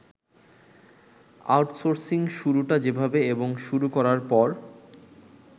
outsourcing শুরুটা যেভাবে এবং শুরু করার পর